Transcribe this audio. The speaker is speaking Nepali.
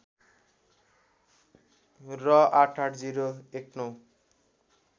र ८८० १९